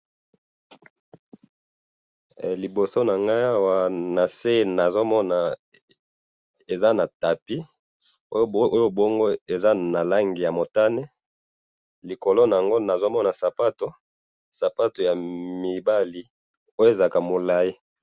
Liboso nangayi awa nase nazomona eza na tapis, oyo bongo eza nalangi yamotane, likolo nayango nazomona sapato, sapato yamibali, oyo ezalaka mulayi